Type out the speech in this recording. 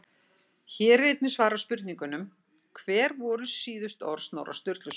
Hér er einnig svarað spurningunum: Hver voru síðustu orð Snorra Sturlusonar?